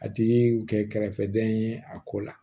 A tigi y'u kɛ kɛrɛfɛdɛn ye a ko la